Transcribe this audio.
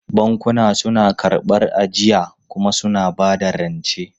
Bankuna suna karɓar ajiya kuma suna ba da rance.